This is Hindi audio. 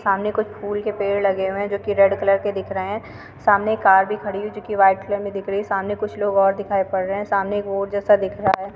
सामने कुछ फूल के पेड़ लगे हुए हैं जो कि रेड कलर के दिख रहे हैं। सामने एक कार भी खड़ी हुई है जो कि वाइट कलर में दिख रही है। सामने कुछ लोग और दिखाई पड़ रहे हैं। सामने एक बोर्ड जैसा दिख रहा है।